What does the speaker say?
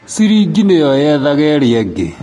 Cirĩngĩ nĩyo yethaga ĩrĩa ĩngĩ.